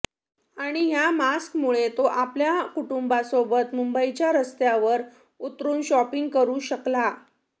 आणि ह्या मास्कमूळे तो आपल्या कुटूंबासोबत मुंबईच्या रस्त्यावर उतरून शॉपिंग करू शकला